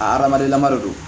A hadamaden lama de don